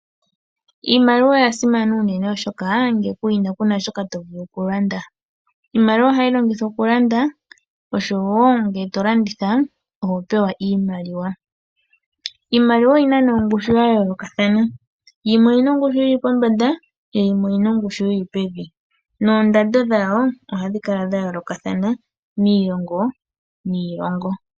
Iimaliwa oya simana unene oshoka ngele kuyina kuna shoka to vulu okulanda. Iimaliwa ohayi longithwa okulanda oshowo ngele tokulanditha oho pewa iimaliwa. Iimaliwa oyina ne ongushu ya yoolokathana yimwe oyina ongushu yili pombanda yo yimwe oyina ongushu yili pevi noondado dhawo ohadhi kala dha yoolokathana miilongo niilongo.